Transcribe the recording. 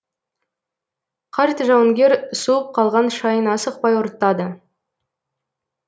қарт жауынгер суып қалған шайын асықпай ұрттады